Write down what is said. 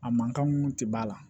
A man kan mun tɛ b'a la